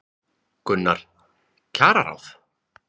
Gunnar: Kjararáð?